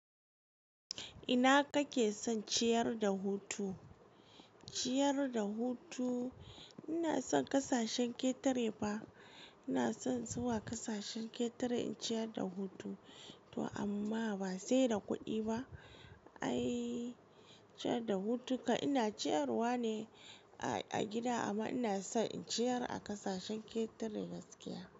Ina kake son ciyar da hutu? Ciyar da hutu ina son kasashen ketare fa. Ina son zuwa ƙasashen ketare in ciyar da hutu. To amma ba sai da kuɗi ba. Ai ciyar da hutu kan ina ciyarwa ne a, a gida amma ina so in ciyar a ƙasashen ketare gaskiya.